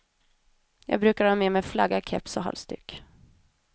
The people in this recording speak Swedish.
Jag brukar ha med mig flagga, keps och halsduk.